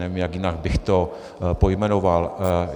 Nevím, jak jinak bych to pojmenoval.